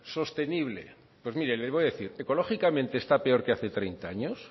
sostenible pues mire le voy a decir ecológicamente está peor que hace treinta años